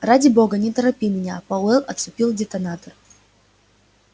ради бога не торопи меня пауэлл отцепил детонатор